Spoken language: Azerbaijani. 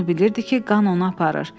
Onu bilirdi ki, qan onu aparır.